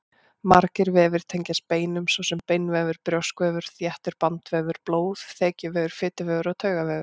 Margir vefir tengjast beinum, svo sem beinvefur, brjóskvefur, þéttur bandvefur, blóð, þekjuvefur, fituvefur og taugavefur.